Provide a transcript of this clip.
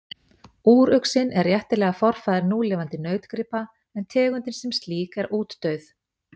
úruxinn er réttilega forfaðir núlifandi nautgripa en tegundin sem slík er útdauð